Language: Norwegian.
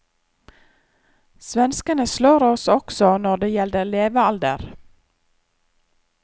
Svenskene slår oss også når det gjelder levealder.